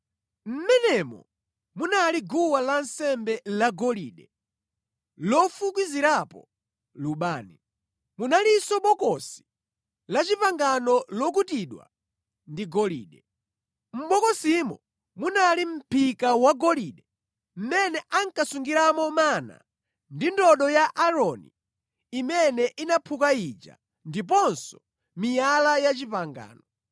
Mʼmenemo munali guwa lansembe lagolide lofukizirapo lubani. Munalinso Bokosi la Chipangano lokutidwa ndi golide. Mʼbokosimo munali mʼphika wagolide mʼmene ankasungiramo mana ndi ndodo ya Aaroni imene inaphuka ija, ndiponso miyala ya pangano.